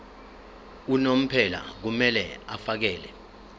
unomphela kumele afakele